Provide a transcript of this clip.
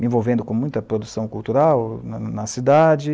Me envolvendo com muita produção cultural na na cidade.